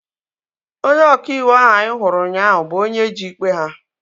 Onye ọka iwu ahu anyị hụrụ ụnyaahụ bụ onye ji ikpe ha